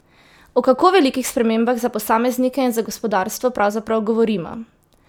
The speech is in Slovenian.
O kako velikih spremembah za posameznike in za gospodarstvo pravzaprav govorimo?